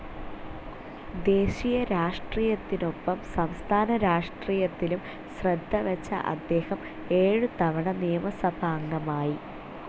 ദേശീയ രാഷ്ട്രീയത്തിനൊപ്പം സംസ്ഥാനരാഷ്ട്രീയത്തിലും ശ്രദ്ധവെച്ച അദ്ദേഹം ഏഴുതവണ നിയമസഭാംഗമായി.